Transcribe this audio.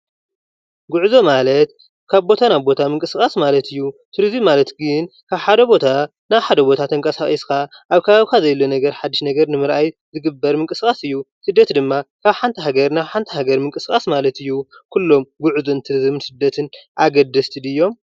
ጉዕዞ ማለት ካብ ቦታ ናብ ቦታ ምንቅስቃስ ማለት እዩ፡፡ ቱሪዝም ማለት ግን ካብ ሓደ ቦታ ናብ ሓደ ቦታ ተንቀሳቒስካ ኣብ ከባቢካ ዘየለ ነገር ሓዱሽ ነገር ንምርኣይ ዝግበር ምቅስቃስ እዩ፡፡ ስደት ማለት ድማ ካብ ሓንቲ ሃገር ናብ ሓንቲ ሃገር ምቅስቃስ ማለት እዩ፡፡ ጉዕዞን ቱሪዝምን ስደትን ኣገደስቲ ድዮም?